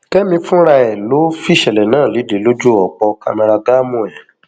kẹmi fúnra ẹ ló fìṣẹlẹ náà lédè lójú ọpọ cameragaàmù ẹ